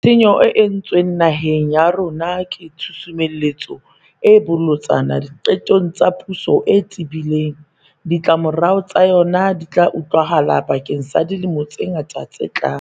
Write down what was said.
Tshenyo e entsweng naheng ya rona ke tshusumetso e bolotsana diqetong tsa puso e tebileng. Ditlamorao tsa yona di tla utlwahala bakeng sa dilemo tse ngata tse tlang.